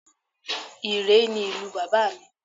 Ìréé ni ìlú bàbá mi